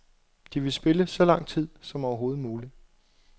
De vil spille så lang tid som overhovedet muligt.